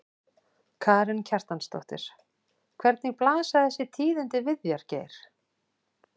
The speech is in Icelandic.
Karen Kjartansdóttir: Hvernig blasa þessi tíðindi við þér Geir?